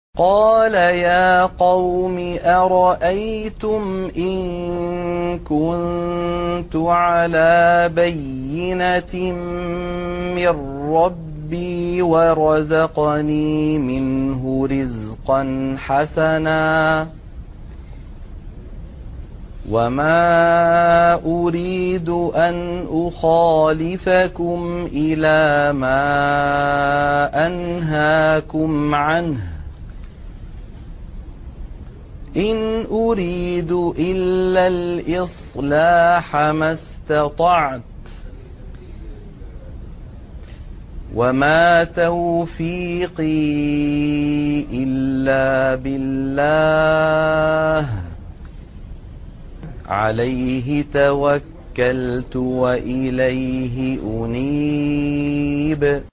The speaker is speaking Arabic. قَالَ يَا قَوْمِ أَرَأَيْتُمْ إِن كُنتُ عَلَىٰ بَيِّنَةٍ مِّن رَّبِّي وَرَزَقَنِي مِنْهُ رِزْقًا حَسَنًا ۚ وَمَا أُرِيدُ أَنْ أُخَالِفَكُمْ إِلَىٰ مَا أَنْهَاكُمْ عَنْهُ ۚ إِنْ أُرِيدُ إِلَّا الْإِصْلَاحَ مَا اسْتَطَعْتُ ۚ وَمَا تَوْفِيقِي إِلَّا بِاللَّهِ ۚ عَلَيْهِ تَوَكَّلْتُ وَإِلَيْهِ أُنِيبُ